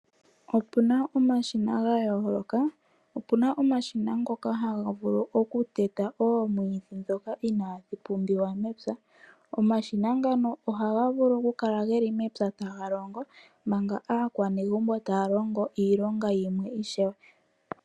Opuna omashina gayooloka, opuna omashina ngoka haga vulu okuteta omwiidhi dhoka inaadhi pumbiwa mepya, omashina ngano ohagavulu okukala geli mepya taga longo, manga aakwanezimo taya longo iilonga yimwe ishewe.